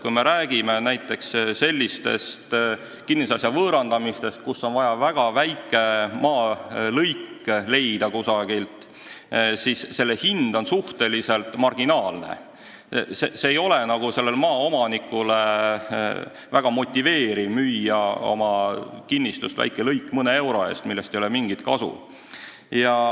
Kui me räägime näiteks sellisest kinnisasja võõrandamisest, kus on vaja väga väike maalõik leida kusagilt, siis selle hind on suhteliselt marginaalne ja maaomanikul pole erilist motivatsiooni müüa oma kinnistust väike lõik mõne euro eest, millest ei ole mingit kasu.